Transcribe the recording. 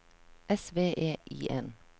S V E I N